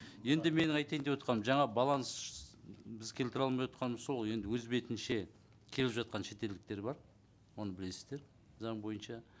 енді мен айтайын деп отырғаным жаңа баланс біз келтіре алмай отырғанымыз сол ғой енді өз бетінше келіп жатқан шетелдіктер бар оны білесіздер заң бойынша